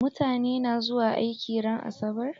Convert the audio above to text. Mutane na zuwa aiki ran asabar?